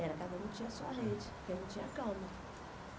Era, cada um tinha a sua rede, porque não tinha cama.